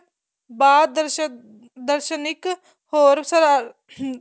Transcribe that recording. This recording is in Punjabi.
ਬਾਲ ਦਰਸ਼ਨ ਦਰਸ਼ਨਿਕ ਹੋਰ ਹਮ